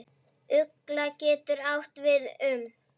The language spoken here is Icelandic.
Ugla getur átt við um